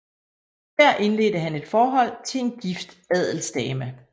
Der indledte han et forhold til en gift adelsdame